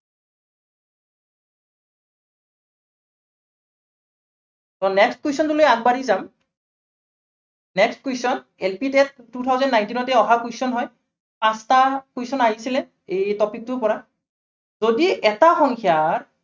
next question টো লৈ আগবাঢ়ি যাম। next question LP, TET two thousand nineteen তে অহা question হয়। পাঁচটা question আহিছিলে এই topic টোৰ পৰা যদি এটা সংখ্য়া